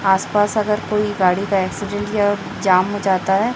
आस पास अगर कोई गाड़ी का एक्सीडेंट या जाम हो जाता है।